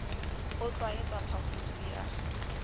o tl waetsa phaphusi ya